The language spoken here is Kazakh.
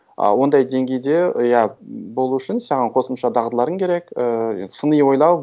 ы ондай деңгейде иә болу үшін саған қосымша дағдыларың керек і сыни ойлау